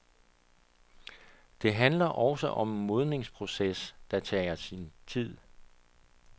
Det handler også om en modningsproces, der tager sin tid.